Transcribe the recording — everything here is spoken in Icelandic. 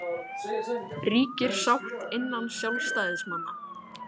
Helga: Ríkir sátt innan sjálfstæðismanna?